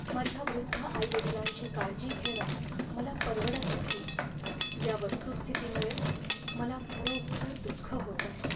माझ्या वृद्ध आईवडिलांची काळजी घेणं मला परवडत नाही या वस्तुस्थितीमुळे मला खरोखर दुःख होतंय.